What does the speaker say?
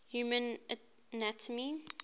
human anatomy